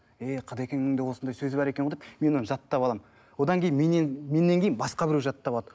е қыдыкеннің де осындай сөзі бар екен ғой деп мен оны жаттап аламын одан кейін меннен меннен кейін басқа біреу жаттап алады